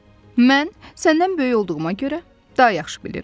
Mən səndən böyük olduğuma görə daha yaxşı bilirəm.